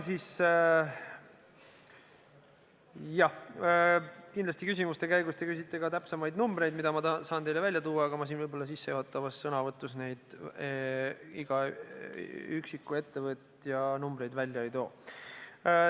Kindlasti küsimuste käigus te küsite ka täpsemaid numbreid, mida ma saan teile välja tuua, aga siin sissejuhatavas sõnavõtus ma iga üksiku ettevõtja numbreid välja ei too.